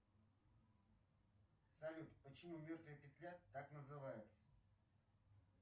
салют почему мертвая петля так называется